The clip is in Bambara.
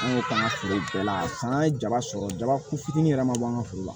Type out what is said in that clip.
An y'o kɛ an ka foro bɛɛ la fanga ye jaba sɔrɔ jaba ku fitinin yɛrɛ ma bɔ an ka foro la